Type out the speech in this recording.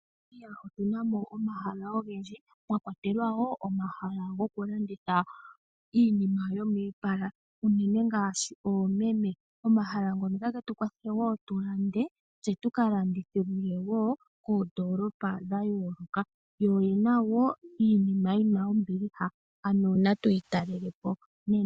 MoNamibia otuna mo omahala ogendji. Mwa kwatelwa wo omahala gokulanditha iinima yomiipala unene ngaashi oomeme. Omahala ngono otage tu kwathele wo tulande tse tuka landithe wo koondoolopa dha yooloka. Yo oyena wo iinima yina ombiliha ano natuyi talelepo nena.